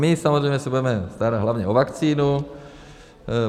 My samozřejmě se budeme starat hlavně o vakcínu.